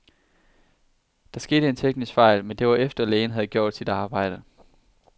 Der skete en teknisk fejl, men det var efter, lægen havde gjort sit arbejde.